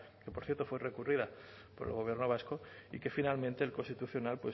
que por cierto fue recurrida por el gobierno vasco y que finalmente el constitucional